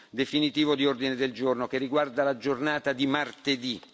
definitivo di ordine del giorno che riguarda la giornata di martedì.